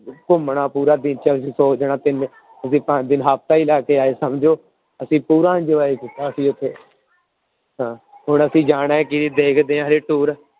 ਘੁੰਮਣਾ ਪੂਰਾ ਅਸੀਂ ਪੰਜ ਦਿਨ ਹਫ਼ਤਾ ਹੀ ਰਹਿ ਕੇ ਆਏ ਸਮਝੋ, ਅਸੀਂ ਪੂਰਾ enjoy ਕੀਤਾ ਅਸੀਂ ਉੱਥੇ ਹਾਂ, ਹੁਣ ਅਸੀਂ ਜਾਣਾ ਹੈ ਕਿ ਦੇਖਦੇ ਹਾਂ ਹਜੇ tour